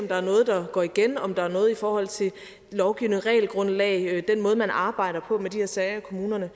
der er noget der går igen om der er noget i forhold til lovgivning regelgrundlag den måde man arbejder på med de her sager i kommunerne